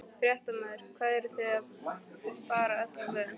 Fréttamaður: Hvað, eruð þið bara öllu vön?